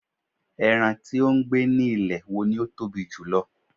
eran ti o gbe ni ilẹ̀ wo ni o Tobi jùlọ